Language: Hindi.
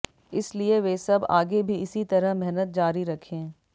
इसलिए वे सब आगे भी इसी तरह मेहनत जारी रखें